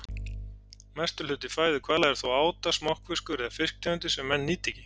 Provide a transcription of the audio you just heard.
Mestur hluti fæðu hvala er þó áta, smokkfiskur eða fisktegundir sem menn nýta ekki.